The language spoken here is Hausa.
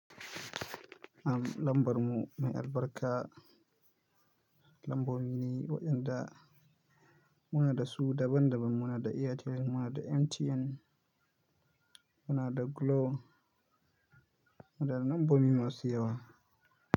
Am lambar mu mai albarka lambar mu ne waɗanda muna da su daban-daban muna da Airtel muna da MTN muna da Glo, muna da lambobi masu yawa.